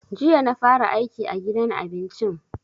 Jiya na fara aiki a gidan abincin.